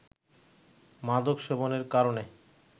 মাদক সেবনের কারণে